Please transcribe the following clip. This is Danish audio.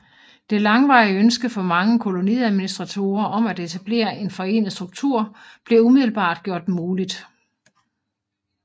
Det langvarige ønske for mange koloniadministratorer om at etablere en forenet struktur blev umiddelbart gjort muligt